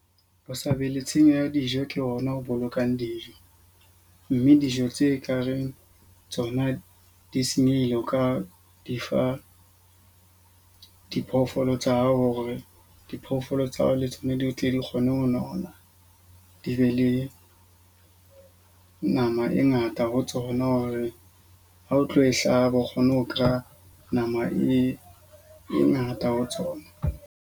Ho sa be le tshenyo ya dijo ke ona o bolokang dijo. Mme dijo tse ka reng tsona di senyehile. O ka di fa diphoofolo tsa hao hore diphoofolo tsa ho le tsona di tle di kgone ho nona. Di be le nama ka e ngata ho tsona. Hore ha o tlo e hlaba bo kgone ho kereya nama e ngata ho tsona.